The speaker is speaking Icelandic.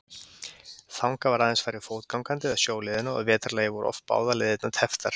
Þangað var aðeins farið fótgangandi eða sjóleiðina og að vetrarlagi voru oft báðar leiðirnar tepptar.